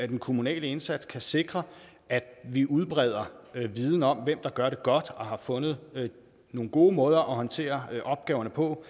den kommunale indsats kan sikre at vi udbreder viden om hvem der gør det godt og har fundet nogle gode måder at håndtere opgaverne på